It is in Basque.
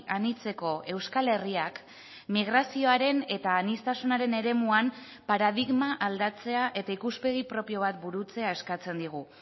anitzeko euskal herriak migrazioaren eta aniztasunaren eremuan paradigma aldatzea eta ikuspegi propio bat burutzea eskatzen digu